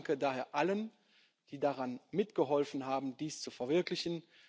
Ich danke daher allen, die dabei mitgeholfen haben, dies zu verwirklichen.